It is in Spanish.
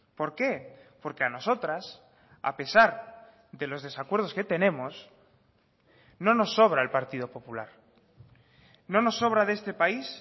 por qué porque a nosotras a pesar de los desacuerdos que tenemos no nos sobra el partido popular no nos sobra de este país